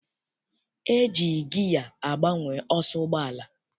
E ji giya agbanwe ọsọ ụgbọala.